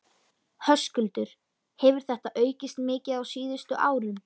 Höskuldur: Hefur þetta aukist mikið á síðustu árum?